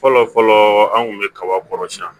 Fɔlɔ fɔlɔ an kun bɛ kaba kɔrɔsiyɛn